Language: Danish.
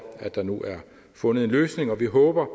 at der nu er fundet en løsning og vi håber